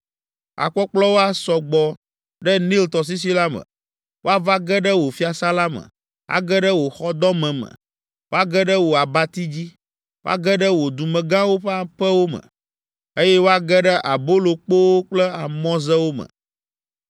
Akpɔkplɔwo asɔ gbɔ ɖe Nil tɔsisi la me. Woava ge ɖe wò fiasã la me, age ɖe wò xɔdɔme me, woage ɖe wò abati dzi, woage ɖe wò dumegãwo ƒe aƒewo me, eye woage ɖe abolokpowo kple amɔzewo me.